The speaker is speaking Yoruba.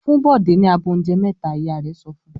"Fún Bọ̀dé ní abọ́ oúnjẹ mẹ́ta!" Ìyá rẹ̀ sọ fún un.